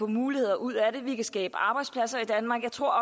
muligheder ud af det vi kan skabe arbejdspladser i danmark jeg tror